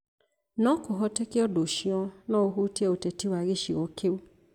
No kũhoteke ũndũ ũcio no ũhutie ũteti wa gĩcigo kĩu.